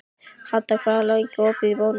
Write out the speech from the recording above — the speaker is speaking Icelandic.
Hadda, hvað er lengi opið í Bónus?